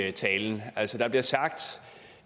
af tallene